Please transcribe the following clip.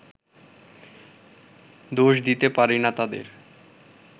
দোষ দিতে পারি না তাঁদের